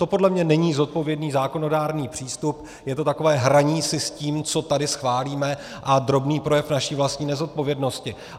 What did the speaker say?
To podle mě není zodpovědný zákonodárný přístup, je to takové hraní si s tím, co tady schválíme, a drobný projev naší vlastní nezodpovědnosti.